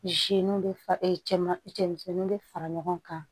bɛ fa cɛman cɛ misɛnninw bɛ fara ɲɔgɔn kan